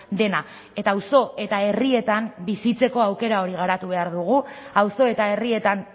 dena eta auzo eta herrietan bizitzeko aukera hori garatu behar dugu auzo eta herrietan